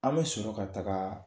An bɛ sɔron ka taga